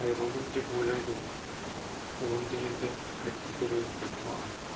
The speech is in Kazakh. айрылдым деп ойлайды ол ұлымды енді қайтып көру жоқ маған